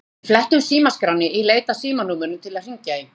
Við flettum símaskránni í leit að símanúmerum til að hringja í.